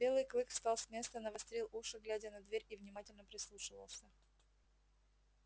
белый клык встал с места навострил уши глядя на дверь и внимательно прислушивался